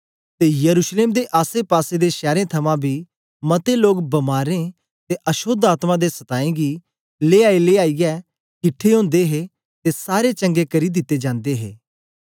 ते यरूशलेम दे आसे पासे दे शैरें थमां बी मते लोग बमारें ते अशोद्ध आत्मा दे सताएं दें गी लेयाईलेयाईयै किट्ठे ओदे हे ते सारे चंगे करी दिते जंदे हे